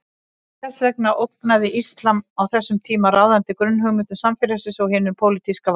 Þess vegna ógnaði íslam á þessum tíma ráðandi grunnhugmyndum samfélagsins og hinu pólitíska valdi.